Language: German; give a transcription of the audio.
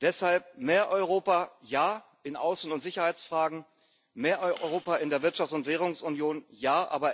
Deshalb Mehr Europa in Außen und Sicherheitsfragen, ja, mehr Europa in der Wirtschafts und Währungsunion, ja.